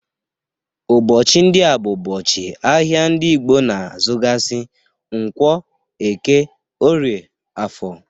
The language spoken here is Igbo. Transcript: Ụbọchị ndị a bụ ụbọchị ahia ndị Igbo na azugasị, nkwo, eke, orie, afọr.